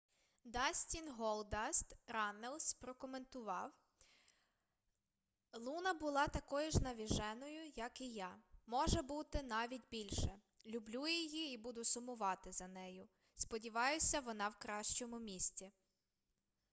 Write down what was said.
дастін голдаст раннелс прокоментував: луна була такою ж навіженою як і я...може бути навіть більше...люблю її і буду сумувати за нею...сподіваюся вона в кращому місці